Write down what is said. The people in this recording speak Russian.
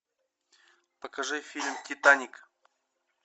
покажи фильм титаник